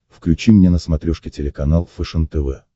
включи мне на смотрешке телеканал фэшен тв